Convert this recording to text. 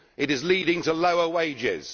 It is leading to lower wages.